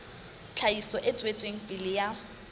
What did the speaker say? tlhahiso e tswetseng pele ya